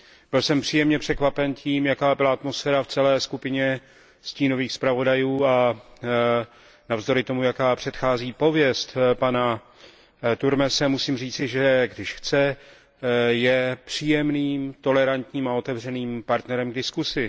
Byl jsem příjemně překvapen tím, jaká byla atmosféra v celé skupině stínových zpravodajů, a navzdory tomu, jaká pověst předchází pana Turmese, musím říci, že když chce, je příjemným, tolerantním a otevřeným partnerem k diskusi.